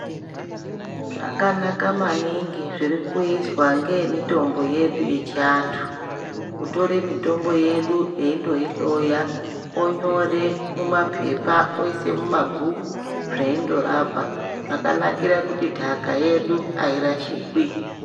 Zvakanaka maningi zvirikuizwa ngeve mitombo yedu yechiantu kutore mutombo yedu eindoihloya onyore mumaphepha oisei mumabhuku zvoinorapa zvakanakra kuti nhaka yedu yairashikwi.